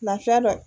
Lafiya dɔ